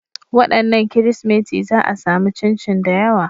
Wadannan Kirsimeti za a sami chinchin da yawa.